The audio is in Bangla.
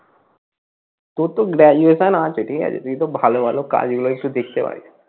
তোর তো graduation ঠিক আছে তুই তো ভালো ভালো কাজ গুলো একটু দেখতে পারিস।